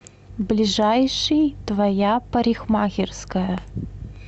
ближайший твоя парикмахерская